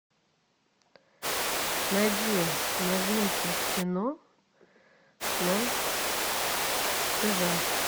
найди новинки кино на тв